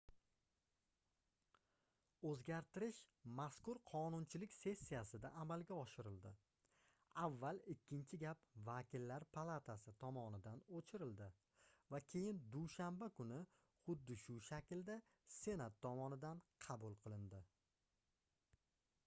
oʻzgartirish mazkur qonunchilik sessiyasida amalga oshirildi avval ikkinchi gap vakillar palatasi tomonidan oʻchirildi va keyin dushanba kuni xuddi shu shaklda senat tomonidan qabul qilindi